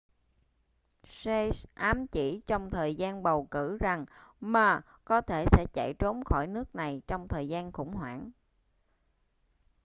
hsieh ám chỉ trong thời gian bầu cử rằng ma có thể sẽ chạy trốn khỏi nước này trong thời gian khủng hoảng